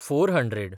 four hundred